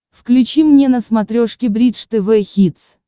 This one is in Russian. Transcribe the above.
включи мне на смотрешке бридж тв хитс